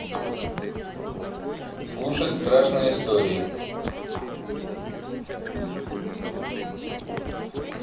слушать страшные истории